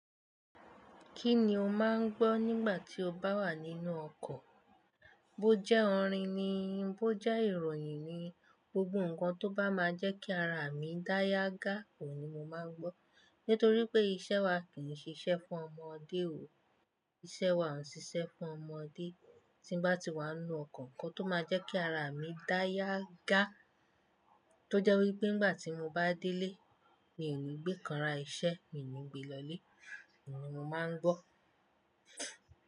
Kí ni o máà ń gbọ́ nígbà tí o bá wà nínú ọkọ̀? Bó jẹ́ orin ni, bó jẹ́ ìròyìn ni, gbogbo ǹkan tó bá máa jẹ́ kí ara mi dáyà ga ohun mo máa ń gbọ́. Nítorí pé iṣẹ́ wa kìí ṣe iṣẹ́ fún ọmọdé o, iṣẹ́ wa ò n síṣe fún ọmọdé. Tí n bá ti wà n nú ọkọ̀ ǹkan tó máa jẹ́ kí ara mi dáyàga, tó jẹ́ wí pé n gbàtí mo bá délé, mi ò ní gbé ikanra iṣẹ́, mii n ní gbe lọlé, òhun ni mo máa ń gbọ́.